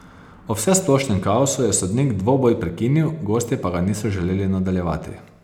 Ob vsesplošnem kaosu je sodnik dvoboj prekinil, gostje pa ga niso želeli nadaljevati.